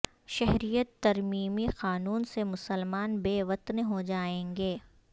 شہریت ترمیمی قانون سے مسلمان بے وطن ہوجائیں گے